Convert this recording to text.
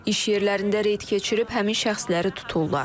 İş yerlərində reyd keçirib həmin şəxsləri tuturlar.